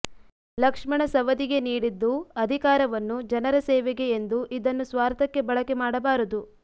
ಲಕ್ಷ್ಮಣ ಸವದಿಗೆ ನೀಡಿದ್ದು ಅಧಿಕಾರವನ್ನು ಜನರ ಸೇವೆಗೆ ಎಂದು ಇದನ್ನು ಸ್ವಾರ್ಥಕ್ಕೆ ಬಳಕೆ ಮಾಡಬಾರದು